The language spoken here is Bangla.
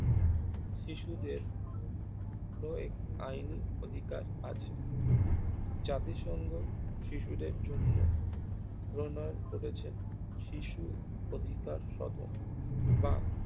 শিশুদের ও এক আইন অধিকার আছে জাতিসংঘ শিশুদের জন্য প্রণয় করেছেন শিশু অধিকার সাধন বা